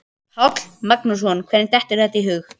Páll Magnússon: Hverjum dettur þetta í hug?